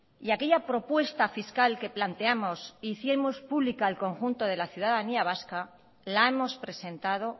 y aquella propuesta fiscal que planteamos e hicimos pública al conjunto de la ciudadanía vasca la hemos presentado